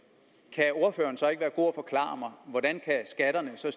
kan ordføreren så ikke være god at forklare mig hvordan skatterne så